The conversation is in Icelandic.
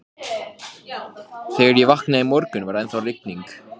Þegar ég vaknaði í morgun, var ennþá rigning.